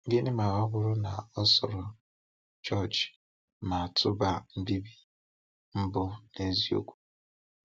Gịnị ma ọ bụrụ na ọ soro George ma tụba mbibi mbụ n’eziokwu?